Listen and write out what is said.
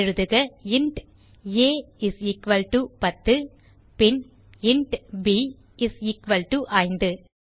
எழுதுக int a is equal to 10 பின் int b is equal to 5